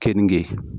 Keninge